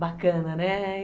bacana, né?